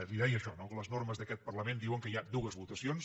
li deia això no que les normes d’aquest parlament diuen que hi ha dues votacions